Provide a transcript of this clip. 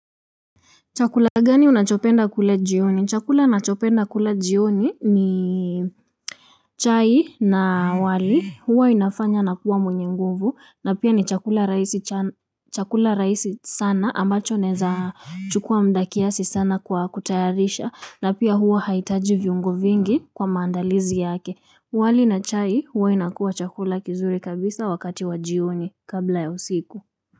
Chakula gani unachopenda kula jioni? Chakula ninachopenda kula jioni ni chai na wali, huwa inafanya nakuwa mwenye nguvu na pia ni chakula rahisi cha chakula rahisi sana ambacho nawezachukua muda kiasi sana kwa kutayarisha na pia huwa haitaji viungo vingi kwa maandalizi yake. Wali na chai huwa inakuwa chakula kizuri kabisa wakati wa jioni kabla ya usiku.